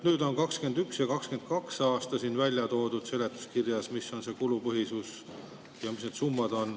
Nüüd on 2021. ja 2022. aasta kohta siin seletuskirjas öeldud, missugune on kulupõhisus ja mis on summad.